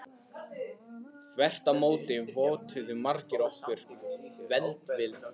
Þvert á móti vottuðu margir okkur velvild sína.